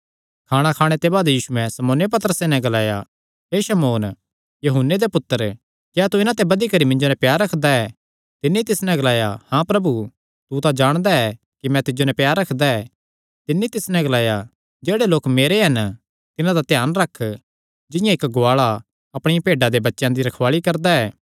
खाणा खाणे ते बाद यीशुयैं शमौन पतरसैं नैं ग्लाया हे शमौन यूहन्ने दे पुत्तर क्या तू इन्हां ते बधी करी मिन्जो नैं प्यार रखदा ऐ तिन्नी तिस नैं ग्लाया हाँ प्रभु तू तां जाणदा ऐ कि मैं तिज्जो नैं प्यार करदा ऐ तिन्नी तिस नैं ग्लाया जेह्ड़े लोक मेरे हन तिन्हां दा ध्यान रख जिंआं इक्क गुआल़ा अपणियां भेड्डां देयां बच्चेयां दी रखवाल़ी करदा ऐ